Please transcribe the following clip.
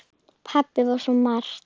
Pabbi var svo margt.